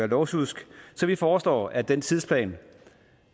lovsjusk så vi foreslår at den tidsplan